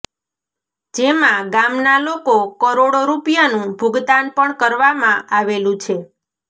જેમાં ગામના લોકો કરોડો રૂપિયાનું ભુગતાન પણ કરવામાં આવેલું છે